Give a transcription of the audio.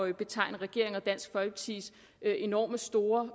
at betegne regeringen og dansk folkepartis enormt store